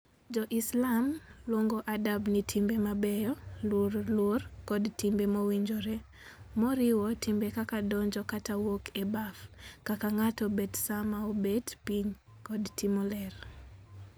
Jo-Islam luongo Adab ni timbe mabeyo, luor, luor, kod timbe mowinjore, moriwo timbe kaka donjo kata wuok e baf, kaka ng'ato bet sama obet piny, kod timo ler.